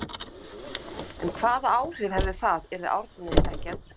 En hvaða áhrif hefði það yrði Árni ekki endurkjörinn?